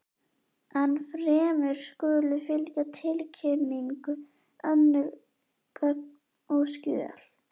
Ennfremur skulu fylgja tilkynningu önnur gögn og skjöl.